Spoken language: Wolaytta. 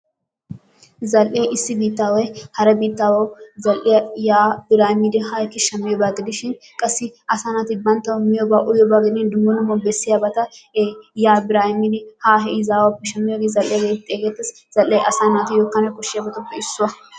zal'ee issi biittaaway hara biittaawu zal'iya yaa biraa immidi haa ekki shammiyoba gidishin qassi asaa naati bantawu miyooba uyyiyoba gidin dumma dumma bessiyabata ee yaa biraa immidi haa he izaawuppe shammiyoogee zal'iyaa geetetti xeegettees, zal'ee asaa naatussi kane koshiyabatuppe issuwa.